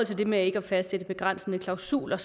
det med ikke at fastsætte begrænsende klausuler